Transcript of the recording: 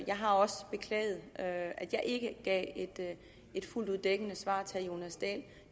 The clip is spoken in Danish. jeg har også beklaget at jeg ikke gav et fuldt ud dækkende svar til herre jonas dahl